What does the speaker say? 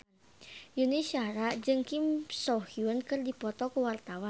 Yuni Shara jeung Kim So Hyun keur dipoto ku wartawan